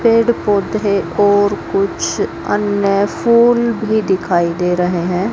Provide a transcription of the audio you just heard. पेड़ पौधे और कुछ अन्य फूल भी दिखाई दे रहे हैं।